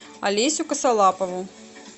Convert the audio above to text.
олесю косолапову